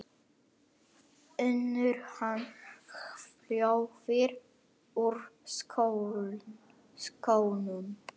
UNNUR: Hann hvolfir úr skónum.